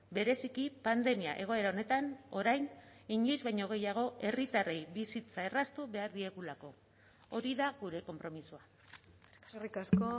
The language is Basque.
bereziki pandemia egoera honetan orain inoiz baino gehiago herritarrei bizitza erraztu behar diegulako hori da gure konpromisoa eskerrik asko